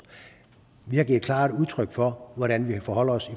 vi har givet klart udtryk for hvordan vi forholder os